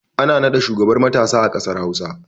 Ana naɗa shugaban matasa a ƙasar hausa